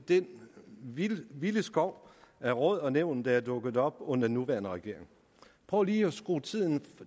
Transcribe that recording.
den vilde vilde skov af råd og nævn der er dukket op under den nuværende regering prøv lige at skrue tiden